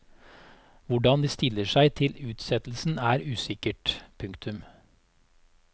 Hvordan de stiller seg til utsettelsen er usikkert. punktum